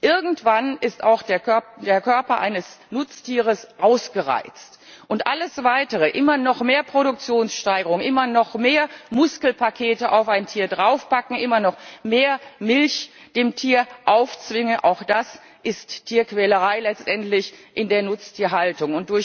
Irgendwann ist auch der Körper eines Nutztieres ausgereizt, und alles Weitere immer noch mehr Produktionssteigerung, immer noch mehr Muskelpakete auf ein Tier draufpacken, immer noch mehr Milch dem Tier aufzwingen ist letztendlich Tierquälerei in der Nutztierhaltung.